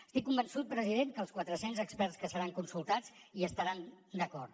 estic convençut president que els quatre cents experts que seran consultats hi estaran d’acord